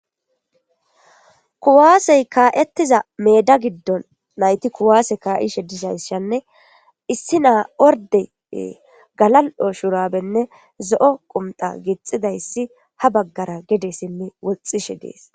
Kuwaasey kaa'ettiza meda giddon nayti kuwaase kaa'ishe dizays shanne issi naa orde galal'o shurabenne zo'o qumxa gixxidayssi ha baggara gede simme woxxishe dees.